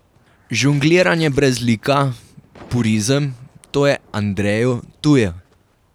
Žongliranje brez lika, purizem, to je Andreju tuje.